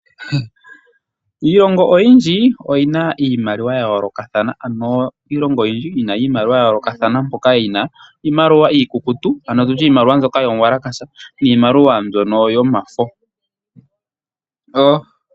Iilongo oyindji oyi na iimaliwa ya yoolokathana ano, mpoka yi na iimaliwa iikukutu ano tu tye iimaliwa mbyoka yomwalakasha, niimaliwa mbyono yomafo.